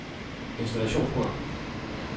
installationsprogram